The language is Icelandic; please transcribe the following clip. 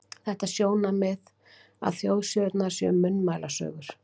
Þetta sjónarmið, að þjóðsögurnar séu munnmælasögur alþýðu, er til mikils skilnings á eðli þeirra.